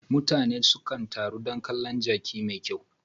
Mutane suka taro don kalon jaki mai kyau.